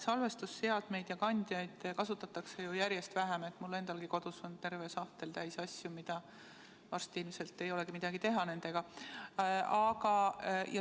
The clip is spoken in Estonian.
Salvestusseadmeid ja ‑kandjaid kasutatakse ju järjest vähem, mul endalgi on kodus terve sahtel täis asju, millega mul varsti ilmselt ei ole midagi teha.